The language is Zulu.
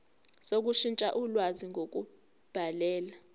sokushintsha ulwazi ngokubhalela